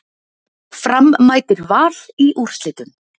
Fram mætir Val í úrslitum